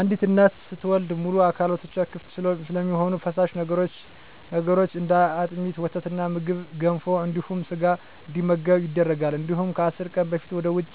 አንዲት እናት ስትወልድ ሙሉ አካላቶች ክፍት ስለሚሆኑ ፈሳሽ ነገሮች እንደ አጥሚት: ወተትና ምግብ ገንፎ እንዲሁም ስጋ እንዲመገቡ ይደረጋል እንዲሁም ከአስር ቀን በፊት ወደ ውጭ